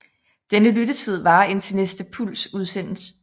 Denne lyttetid varer indtil næste puls udsendes